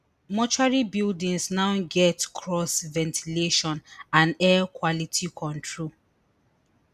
mortuary buildings now get cross ventilation and air quality control